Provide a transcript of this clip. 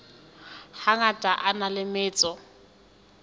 hangata a na le metso